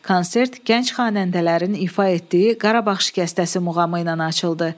Konsert gənc xanəndələrin ifa etdiyi Qarabağ şikəstəsi muğamı ilə açıldı.